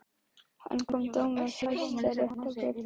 En kom dómur Hæstaréttar Birni á óvart?